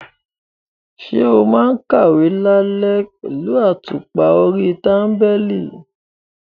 Ṣé o máa ń kàwé lálẹ́ àtùpà orí tábìlì?